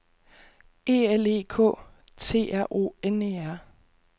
E L E K T R O N E R